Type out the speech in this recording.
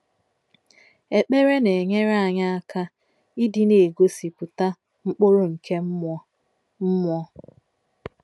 Ekpere na-enyere anyị aka ịdị na-egosipụta “ mkpụrụ nke mmụọ” mmụọ”